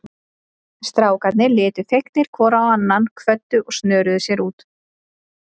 Strákarnir litu fegnir hvor á annan, kvöddu og snöruðu sér út.